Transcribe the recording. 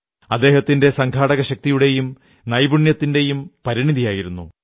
അദ്ദേഹത്തിന്റെ സംഘാടകശക്തിയുടെയും നൈപുണ്യത്തിന്റെയും പരിണതിയായിരുന്നു